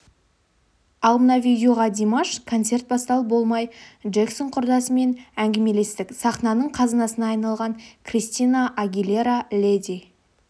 ал мына видеоға димаш концерт басталып болмай джексон құрдасыммен ңгемелестік сахнаның қазынасына айналған кристина агилера леди